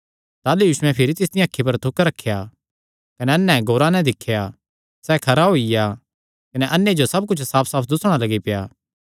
ताह़लू यीशुयैं भिरी तिसदियां अखीं पर हत्थ रखेया कने अन्ने ध्याने नैं दिख्या सैह़ खरा होईया कने अन्ने जो सब कुच्छ साफसाफ दुस्सणा लग्गी पेआ